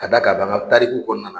A d'a kan a b'an ŋa tariku kɔɔna na